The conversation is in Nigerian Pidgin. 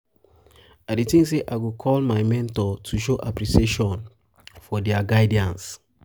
i dey think say i go call my mentor to show appreciation for dia guidance.